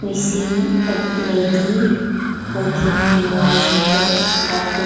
we see young lady walking towards the table.